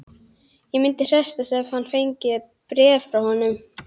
Ég myndi hressast ef ég fengi bréf frá honum.